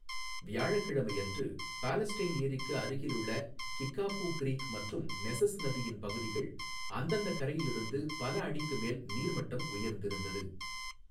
வியாழக்கிழமை அன்று, பாலஸ்டைன் ஏரிக்கு அருகிலுள்ள கிக்காபூ க்ரீக் மற்றும் நெசஸ் நதியின் பகுதிகள் அந்தந்த கரையிலிருந்து பல அடிக்கு மேல் நீர்மட்டம் உயர்ந்திருந்தது.